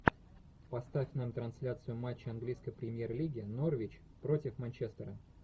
поставь нам трансляцию матча английской премьер лиги норвич против манчестера